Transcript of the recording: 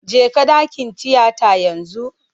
Jeka dakin tiyata yanzu!